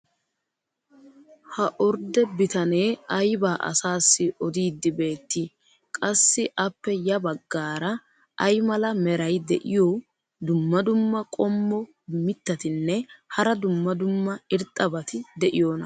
ha orde bitanee aybaa asaassi odiidi beetii? qassi appe ya bagaara ay mala meray diyo dumma dumma qommo mitattinne hara dumma dumma irxxabati de'iyoonaa?